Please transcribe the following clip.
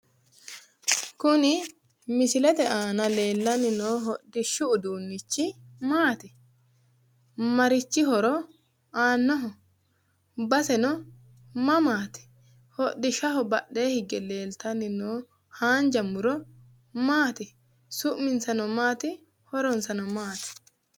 Kuni misilete aanna leelani noo hodhishu uduunnichi maati marichi horro aannoho ?basseno mamatti hodhi'shaho badhe higge leelitani no hanja muro maati suminsano maati horonsano maati?